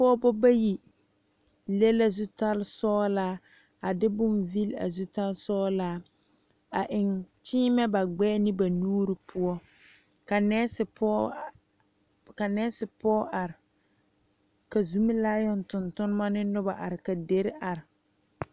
Pɔgebo bayi le la zutal sɔglaa a de boŋ vile a zutal sɔglaa a eŋ kyiimɛ ba gbɛɛ ne ba nuure poɔ ka nesi poɔ ka nesi poɔ are ka zomelaayoŋ toŋ tonma ne noba are ka dire are.